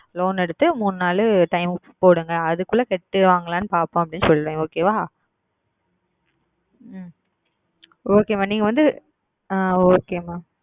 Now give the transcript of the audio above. Loan எடுத்து மூன்று நாள் Time க்கு போடுங்கள் அதற்கு உள்ளே செலுத்துவார்கள் பார்ப்போம் என்று சொல்லி Okay ஆ உம் Okay Mam நீங்கள் வந்து ஆஹ் Okay Mam